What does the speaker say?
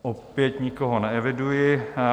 Opět nikoho neeviduji.